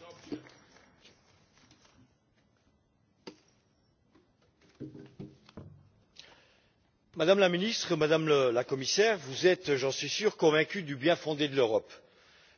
Monsieur le Président, Madame la Ministre, Madame la Commissaire, vous êtes, j'en suis sûr, convaincus du bien fondé de l'Europe.